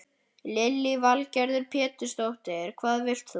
Lillý Valgerður Pétursdóttir: Hvað vilt þú?